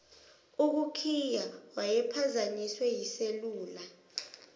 ukukhiya wayephazanyiswe yiselula